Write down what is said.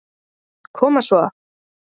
Koma svo!